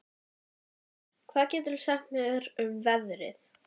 Ívar, hvað geturðu sagt mér um veðrið?